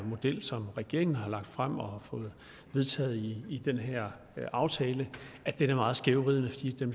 model som regeringen har lagt frem og fået vedtaget i den her aftale er meget skævvridende fordi den